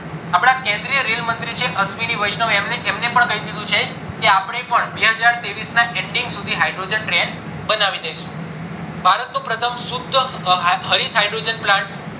અપડા કેન્દ્રીય રેલ મંત્રી છે અશ્વિની વૈષ્ણવ એમને પણ કાય દીધું છે કે અપણે પણ બે હજાર ત્રેવીસ ના ending સુધી hydrogen train બનાવી દેશું ભારત નું પ્રથમ શુદ્ધ hydrogen plant